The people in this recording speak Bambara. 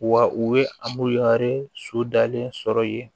Wa u ye ari su dalen sɔrɔ yen